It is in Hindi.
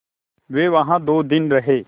वे वहाँ दो दिन रहे